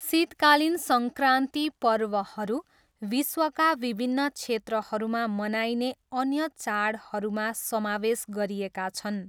शीतकालीन सङ्क्रान्ति पर्वहरू विश्वका विभिन्न क्षेत्रहरूमा मनाइने अन्य चाडहरूमा समावेश गरिएका छन्।